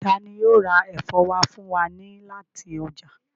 Tani yóò ra ẹfọ wa fun wa ni lati ọja?